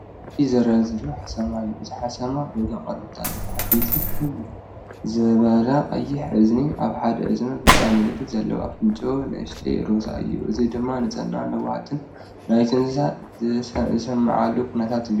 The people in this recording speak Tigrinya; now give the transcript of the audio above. እዚ ዝርአ ዘሎ ሓሰማ እዩ። እቲ ሓሰማ ሮዛ ቆርበት ኣለዎ፤ ዓበይቲ ፍኹስ ዝበለ ቀይሕ እዝኒ ኣብ ሓደ እዝኒ ብጫ ምልክት ዘለዎ። ኣፍንጫኡ ንእሽቶን ሮዛን እዩ። እዚ ድማ ንጽህናን ለውሃትን ናይቲ እንስሳ ዝስምዓሉ ኩነታት እዩ።